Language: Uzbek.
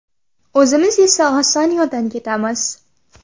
O‘zimiz esa oson yo‘ldan ketamiz.